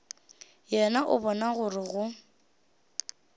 yena o bona gore go